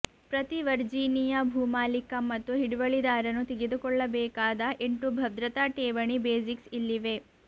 ಪ್ರತಿ ವರ್ಜೀನಿಯಾ ಭೂಮಾಲೀಕ ಮತ್ತು ಹಿಡುವಳಿದಾರನು ತಿಳಿದುಕೊಳ್ಳಬೇಕಾದ ಎಂಟು ಭದ್ರತಾ ಠೇವಣಿ ಬೇಸಿಕ್ಸ್ ಇಲ್ಲಿವೆ